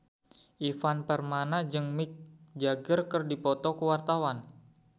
Ivan Permana jeung Mick Jagger keur dipoto ku wartawan